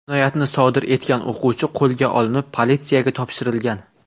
Jinoyatni sodir etgan o‘quvchi qo‘lga olinib, politsiyaga topshirilgan.